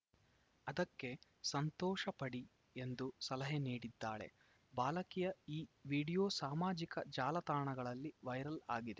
ಅದಕ್ಕೆ ಸಂತೋಷ ಪಡಿ ಎಂದು ಸಲಹೆ ನೀಡಿದ್ದಾಳೆ ಬಾಲಕಿಯ ಈ ವಿಡಿಯೋ ಸಾಮಾಜಿಕ ಜಾಲತಾಣಗಳಲ್ಲಿ ವೈರಲ್‌ ಆಗಿದೆ